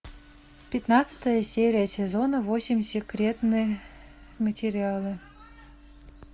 пятнадцатая серия сезона восемь секретные материалы